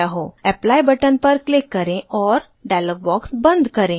apply button पर click करें और dialog box बंद करें